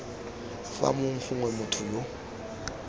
fa mong gongwe motho yo